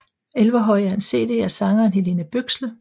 Elverhøy er en cd af sangeren Helene Bøksle